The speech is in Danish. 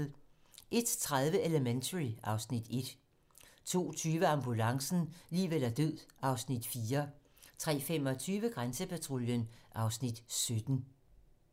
01:30: Elementary (Afs. 1) 02:20: Ambulancen - liv eller død (Afs. 4) 03:25: Grænsepatruljen (Afs. 17)